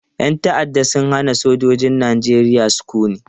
Yan ta'adda sun hana sojojin Najeriya sukuni.